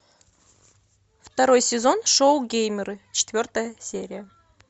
второй сезон шоу геймеры четвертая серия